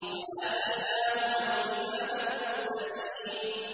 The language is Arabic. وَآتَيْنَاهُمَا الْكِتَابَ الْمُسْتَبِينَ